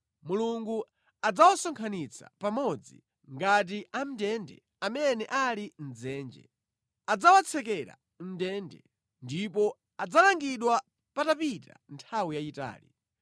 Mulungu adzawasonkhanitsa pamodzi ngati amʼndende amene ali mʼdzenje. Adzawatsekera mʼndende ndipo adzalangidwa patapita nthawi yayitali.